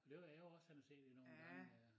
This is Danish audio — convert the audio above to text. Det var da jeg var også henne og se det nogen gange øh